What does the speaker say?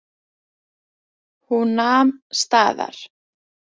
Hún nam staðar.